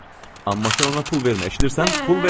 Amma sən ona pul vermə, eşidirsən, pul vermə.